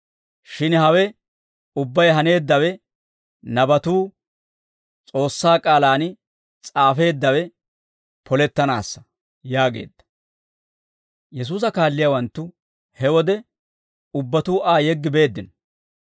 shin hawe ubbay haneeddawe nabatuu S'oossaa k'aalaan s'aafeeddawe polettanaassa» yaageedda. Yesuusa kaalliyaawanttu he wode ubbatuu Aa yeggi beeddino.